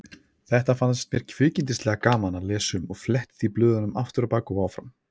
Þetta fannst mér kvikindislega gaman að lesa um og fletti því blöðunum afturábak og áfram.